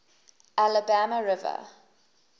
alabama river